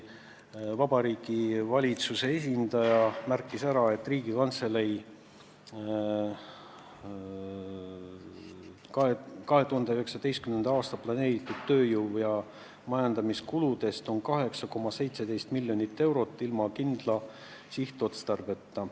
Vabariigi Valitsuse esindaja märkis, et Riigikantselei 2019. aasta tööjõu- ja majandamiskuludest on 8,17 miljonit eurot ilma kindla sihtotstarbeta.